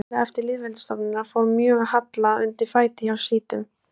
Fljótlega eftir lýðveldisstofnunina fór mjög að halla undan fæti hjá sjítum.